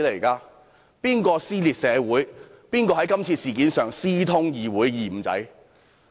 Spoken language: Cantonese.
誰人撕裂社會，誰人在今次事件上私通議會"二五仔"？